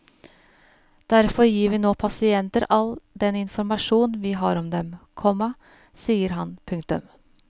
Derfor gir vi nå pasienter all den informasjon vi har om dem, komma sier han. punktum